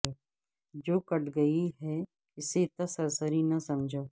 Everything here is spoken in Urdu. جو کٹ گئی ہے اسے اتنا سرسری نہ سمجھ